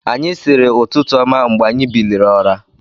Anyị siiri ụtụtụ ọma mgbe anyi biliri ụra.